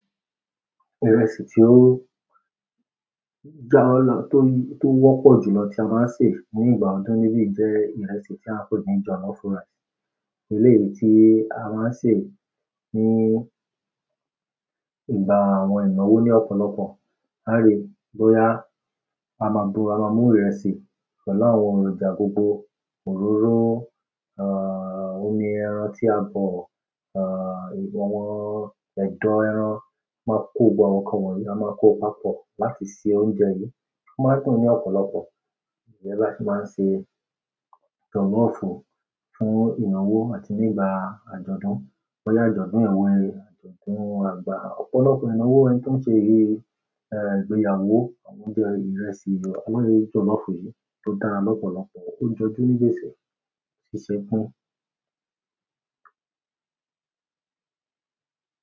Ìrẹsì tí ó, tó wọ́pọ̀ jù lọ tí a máa ń sè ní ìgbà ọdún níbíìyí jẹ́ ìrẹsì tí a ń pè ní jọ̀lọ́ọ̀fù rice. Eléèyí tí a máa ń ṣè ní ìgbà àwọn ìnáwó ní ọ̀pọ̀lọpọ̀. A lè bóyá a máa mú ìrẹsì pẹ̀lú àwọn èrọ̀jà gbogbo òróró, omi ẹran tí a bọ̀, àwọn ẹ̀dọ̀ ẹran máa kó gbogbo àwọn nǹkan wọ̀nyí, a máa kó papọ̀ láti ṣe oúnjẹ yìí. Ó máa ń dùn ní ọ̀pọ̀lọpọ̀, njé bí a ti máa ń ṣe jọ̀lọ́ọ̀fù fún ìnáwó àti nígbà àjọ̀dún, bọ́yá àjọ̀dún àwọn e, àjọ̀dún àgbà. Ọ̀pọ̀lọpọ̀ ìnáwó ẹni tó ń ṣe ìgbéyàwó, àwọn oúnjẹ ìrẹsì jọ̀lọ́ọ̀fù yìí tó dára lọ́pọ̀lọpọ̀, ó ń jọjú nígbèsè.